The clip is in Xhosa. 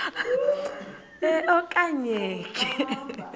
e okanye nge